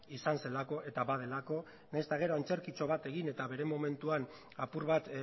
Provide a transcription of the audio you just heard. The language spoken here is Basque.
izan zelako eta badelako nahiz eta gero antzerkitxo bat egin eta bere momentuan apur bat